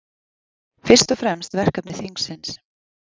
Fyrst og fremst verkefni þingsins